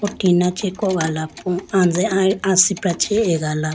oh tina chee kogala po anje asipra chee agala.